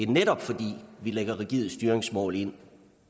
netop fordi vi lægger rigide styringsmål ind